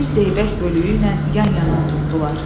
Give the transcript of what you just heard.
Bir zeybək bölüyü ilə yan-yana oturtdular.